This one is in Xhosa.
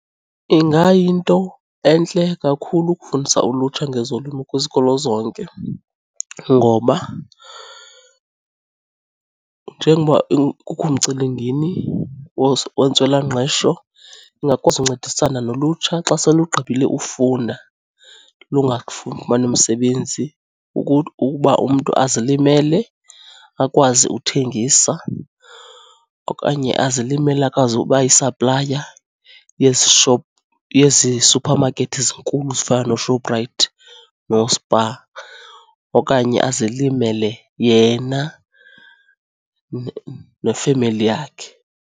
Ingayinto entle kakhulu ukufundisa ulutsha ngezolimo kwizikolo zonke ngoba njengoba kukho umcelimngeni wentswelangqesho ingakwazi uncedisana nolutsha xa selugqibile ufunda lungafumani msebenzi. Ukuba umntu azilimele akwazi uthengisa okanye azilimele akwazi ubayisaplaya yezi shop, yezi suphamakethi zinkulu zifana nooShoprite nooSpar okanye azilimele yena nefemeli yakhe.